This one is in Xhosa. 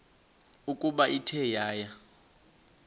ukuba ithe yaya